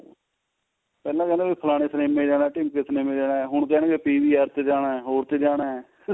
ਪਹਿਲਾਂ ਕਹਿੰਦੇ ਸੀ ਫਲਾਣੇ ਸਿਨਮੇ ਚ ਜਾਣਾ ਢੀਮਕੇ ਸਿਨਮੇ ਚ ਜਾਣਾ ਹੁਣ ਕਹਿਣਗੇ PVR ਹੋਰ ਚ ਜਾਣਾ